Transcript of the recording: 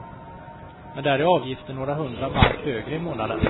Men där är avgiften några hundra mark högre i månaden.